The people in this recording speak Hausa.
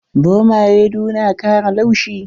Zomaye du na kara laushi.